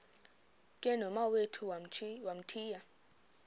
ke nomawethu wamthiya